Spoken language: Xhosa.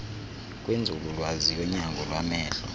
kwinzululwazi yonyango lwamehlo